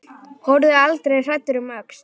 Horfðu aldrei hræddur um öxl!